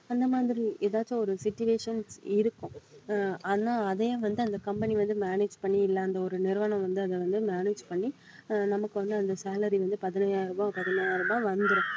அந்த மாதிரி ஏதாச்சும் ஒரு situation இருக்கும் அஹ் ஆனா அதையும் வந்து அந்த company வந்து manage பண்ணி இல்லை அந்த ஒரு நிறுவனம் வந்து அதை வந்து manage பண்ணி அஹ் நமக்கு வந்து அந்த salary வந்து பதினையாயிரம் ரூபாய் பதினையாயிரம் ரூபாய் வந்துரும்